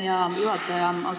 Aitäh, hea juhataja!